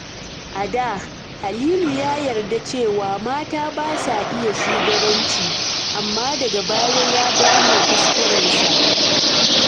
A da, Halilu ya yarda cewa mata ba su iya shugabanci, amma daga baya ya gane kuskurensa.